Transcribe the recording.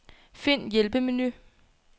Find hjælpemenu.